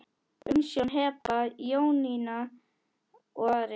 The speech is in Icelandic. Umsjón Heba, Jónína og Ari.